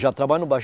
Já trabalhando no